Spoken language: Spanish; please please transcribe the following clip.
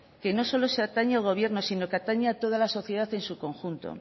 que no solo atañe al gobierno sino que atañe a toda la sociedad en su conjunto